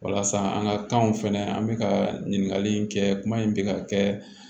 Walasa an ka kanw fɛnɛ an bɛ ka ɲininkali in kɛ kuma in bɛ ka kɛ